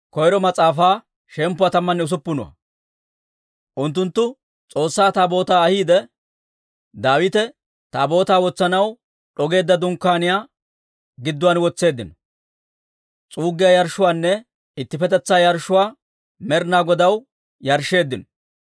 Unttunttu S'oossaa Taabootaa ahiidde, Daawite Taabootaa wotsanaw d'ogeedda dunkkaaniyaa gidduwaan wotseeddino. S'uuggiyaa yarshshuwaanne ittippetetsaa yarshshuwaa Med'inaa Godaw yarshsheeddino.